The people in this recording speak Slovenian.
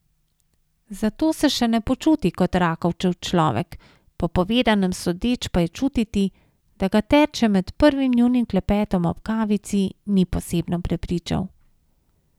Zato se še ne počuti kot Rakovčev človek, po povedanem sodeč pa je čutiti, da ga Terče med prvim njunim klepetom ob kavici ni posebno prepričal.